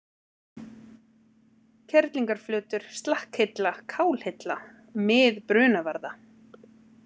Kerlingarflötur, Slakkhilla, Kálhilla, Mið-Brunavarða